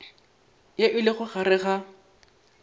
ye e lego gare ga